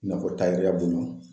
I n'a fɔ